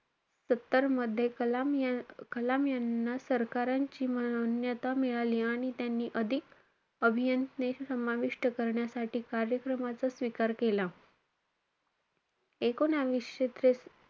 सत्तरमध्ये कलाम या~ कलाम यांना सरकारांची मान्यता मिळाली. आणि त्यांनी अधिक अभियंता समाविष्ट करण्यासाठी कार्यक्रमाचा स्वीकार केला. एकोणवीसशे त्रे,